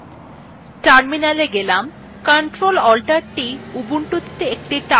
ctrl alt t ubuntu একটি terminal শুরু করতে সাহায্য করে